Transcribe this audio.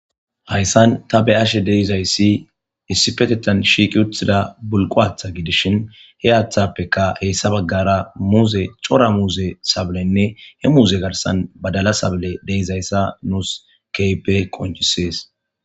Hayssan ta be ashe deizayssi issi petetan shiiqi uthida bulqowaatha gidishin he aathappeka heyssa baggara muuze cora muuze sablenne he muuze garsan badala sable deizayssa nuus keype qonchisees.